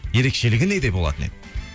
ерекшелігі неде болатын еді